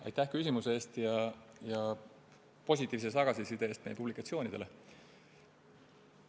Aitäh küsimuse eest ja positiivse tagasiside eest meie publikatsioonidele!